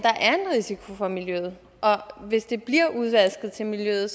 risiko for miljøet og at hvis det bliver udvasket til miljøet